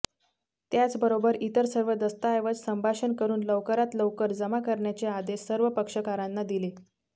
त्याचबरोबर इतर सर्व दस्तावेज संभाषण करून लवकरात लवकर जमा करण्याचे आदेश सर्व पक्षकारांना दिले